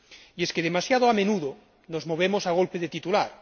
Y es que demasiado a menudo nos movemos a golpe de titular.